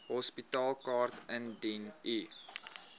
hospitaalkaart indien u